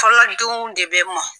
Fɔlɔdenw de bɛ mɔn.